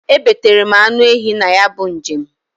E betara m anụ ehi na ya bu njem.